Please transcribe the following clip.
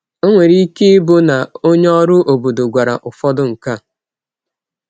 O nwere ike ịbụ na onye ọrụ obodo gwara ụfọdụ nke a.